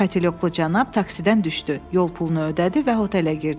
Katelyoklu cənab taksidən düşdü, yol pulunu ödədi və hotelə girdi.